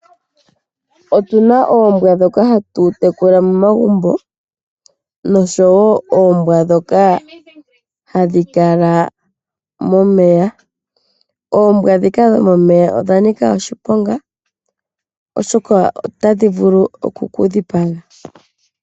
Opuna oombwa ndhoka hatu tekula momagumbo noombwa ndhoka hadhi kala momeya. Oombwa ndhika dhomomeya odhanika oshiponga oshoka otadhi vulu oku ku dhipaga.